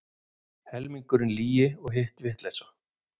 Helmingurinn lygi og hitt vitleysa.